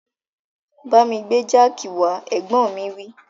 Bámi gbé jáàkì wá, Ẹ̀gbọ́n mi wí